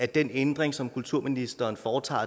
den ændring som kulturministeren foretager